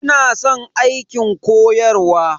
Ina san aikin koyarwa.